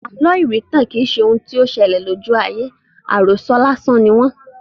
Àlọ́ irintan kì í ṣe ohun tí ó sele lójú aye; àròso lásán ni wọ́n.